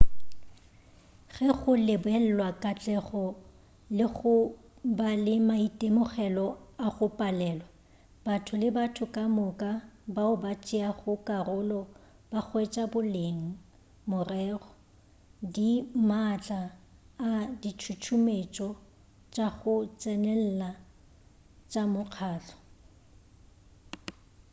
ge go lebelelwa katlego le go ba le maitemogelo a go palelwa batho le batho ka moka bao ba tšeago karolo ba hwetša boleng morero di maatla a ditšhutšumetšo tša go tsenelela tša mokgahlo